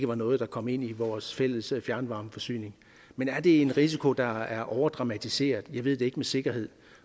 var noget der kom ind i vores fælles fjernvarmeforsyning men er det en risiko der er overdramatiseret jeg ved det ikke med sikkerhed